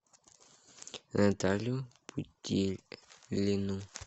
наталью путилину